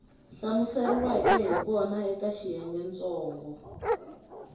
hlamuseriweke hi kona eka xiyengentsongo